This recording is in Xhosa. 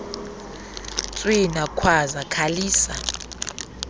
tswina khwaza khalisa